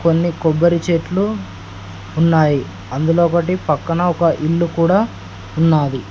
కొన్ని కొబ్బరి చెట్లు ఉన్నాయి అందులో ఒకటి పక్కన ఒక ఇల్లు కూడా ఉన్నాది.